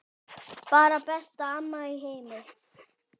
Bara besta amma í heimi.